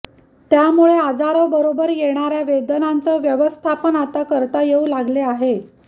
त्यामुळे आजाराबरोबर येणाऱ्या वेदनाचं व्यवस्थापन आता करता येऊ लागले आहे